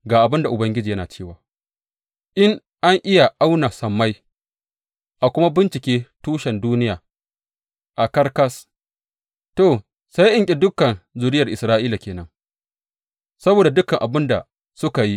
Ga abin da Ubangiji yana cewa, In a iya auna sammai a kuma bincike tushen duniya a ƙarƙas to, sai in ƙi dukan zuriyar Isra’ila ke nan saboda dukan abin da suka yi,